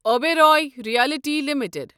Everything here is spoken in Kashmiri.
Oberoi Realty limited